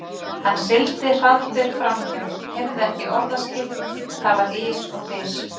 Hann sigldi hraðbyri framhjá, heyrði ekki orðaskil, það var ys og þys.